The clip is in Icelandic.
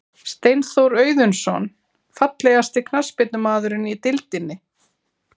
Steinþór Auðunsson Fallegasti knattspyrnumaðurinn í deildinni?